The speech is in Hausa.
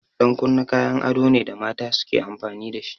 Ɗan kunne kayan ado ne da mata suke amfani dashi.